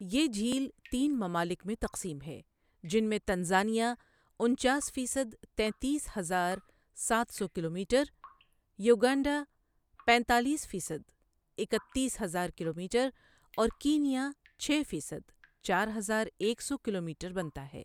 یہ جھیل تین ممالک میں تقسیم ہے جن میں تنزانیہ انچاس فیصد تینتیس ہزار سات سو کلومیٹر ، یوگنڈا پینتالیس فیصد اکتیس ہزار کلومیٹر اور کینیا چھ فیصد چار ہزار ایک سو کلومیٹر بنتا ہے۔